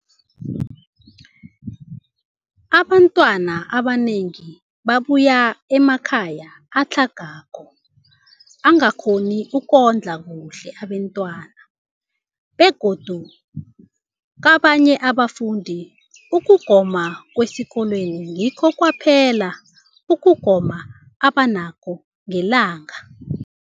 Abantwana abanengi babuya emakhaya atlhagako angakghoni ukondla kuhle abentwana, begodu kabanye abafundi, ukugoma kwesikolweni ngikho kwaphela ukugoma abanakho ngelanga.